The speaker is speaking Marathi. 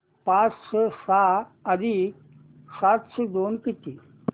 पाचशे सहा अधिक सातशे दोन किती